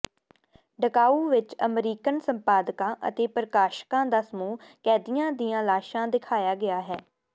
Dachau ਵਿਚ American ਸੰਪਾਦਕਾਂ ਅਤੇ ਪ੍ਰਕਾਸ਼ਕਾਂ ਦਾ ਸਮੂਹ ਕੈਦੀਾਂ ਦੀਆਂ ਲਾਸ਼ਾਂ ਦਿਖਾਇਆ ਗਿਆ ਹੈ